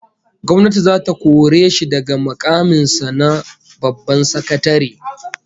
Gwamnati zata kore shi daga mukamin sa na babban sakatare